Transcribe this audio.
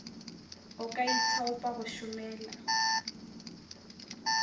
o ka ithaopa go šomela